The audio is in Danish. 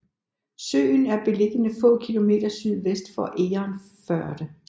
Søen er beliggende få kilometer sydvest for Egernførde